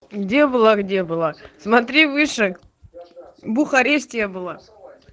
где в вологде была смотри выше в бухаресте я была